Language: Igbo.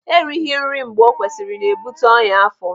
Erighi nri mgbe o kwesịrị na-ebute ọnyá afọ.